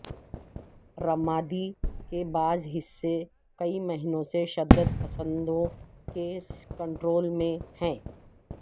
رمادی کے بعض حصے کئی مہینوں سے شدت پسندوں کے کنٹرول میں ہیں